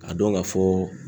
K'a dɔn ka fɔ